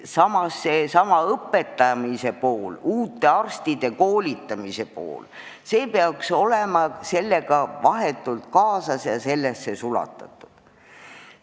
Samas, õpetamise pool, uute arstide koolitamise pool peaks olema sellega vahetult kaasas ja sellesse sulatatud.